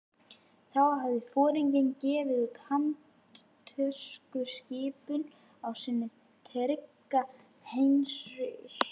Þá hafði foringinn gefið út handtökuskipun á sinn trygga Heinrich